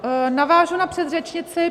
Navážu na předřečnici.